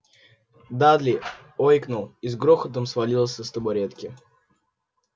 дадли ойкнул и с грохотом свалился с табуретки